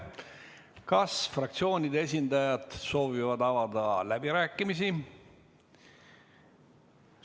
Kas fraktsioonide esindajad soovivad avada läbirääkimisi?